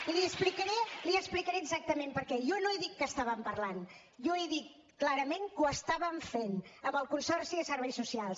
i li ho explicaré exactament perquè jo no he dit que estàvem parlant jo he dit clarament que ho estàvem fent amb el consorci de serveis socials